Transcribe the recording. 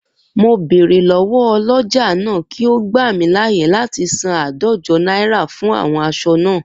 Mo bèrè lọ́wọ́ ọlọ́jà náà kí ó gbà mí láyè láti san áàdójo náírà fún àwon aṣọ naa